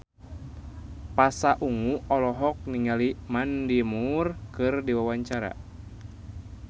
Pasha Ungu olohok ningali Mandy Moore keur diwawancara